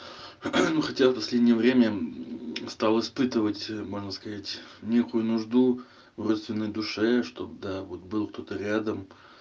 ну хотя в последнее время стал испытывать можно сказать некую нужду в родственной душе чтобы да вот был кто-то рядом